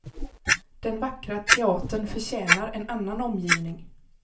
Den vackra teatern förtjänar en annan omgivning.